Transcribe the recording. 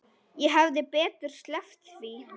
Ég hefði betur sleppt því.